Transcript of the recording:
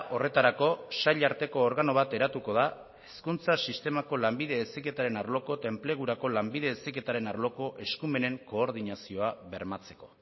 horretarako sail arteko organo bat eratuko da hezkuntza sistemako lanbide heziketaren arloko eta enplegurako lanbide heziketaren arloko eskumenen koordinazioa bermatzeko